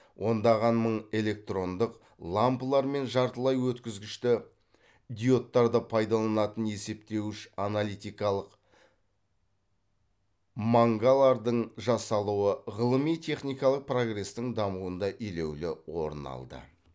ондаған мың электрондық лампылар мен жартылай өткізгішті диодтарды пайдаланатын есептеуіш аналитикалық мангалардың жасалуы ғылыми техникалық прогрестің дамуында елеулі орын алды